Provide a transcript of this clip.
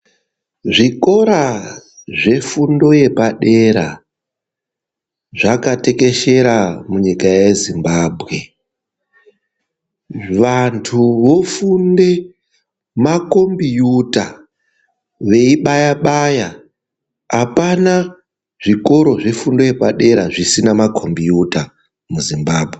Zvikora zvefundo yepadera zvakatekeshera munyika yezimbabwe. Vantu vofunde makombiyuta veibaya baya apana zvikoro zvefundo yepadera zvisina ma kombiyuta mu Zimbabwe.